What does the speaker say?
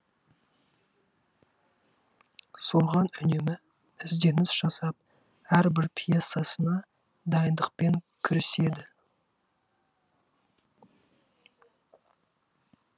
соған үнемі ізденіс жасап әрбір пьесасына дайындықпен кіріседі